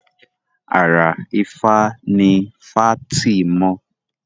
Àrà ifá ní fátìmọ